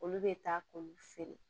Olu bɛ taa k'olu feere